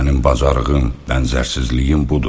Mənim bacarığım, bənzərsizliyim budur.